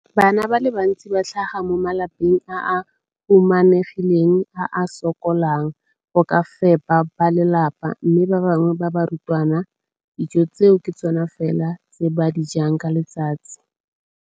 Bana ba le bantsi ba tlhaga mo malapeng a a humanegileng a a sokolang go ka fepa ba lelapa mme ba bangwe ba barutwana, dijo tseo ke tsona fela tse ba di jang ka letsatsi.